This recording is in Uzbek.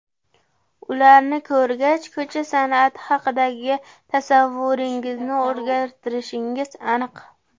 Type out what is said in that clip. Ularni ko‘rgach, ko‘cha san’ati haqidagi tasavvuringizni o‘zgartirishingiz aniq.